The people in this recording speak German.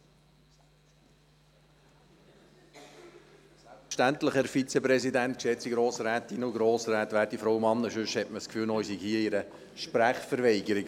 Selbstverständlich, sonst denkt man noch, ich befinde mich in einer Sprechverweigerung.